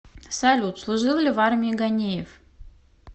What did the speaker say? салют служил ли в армии ганеев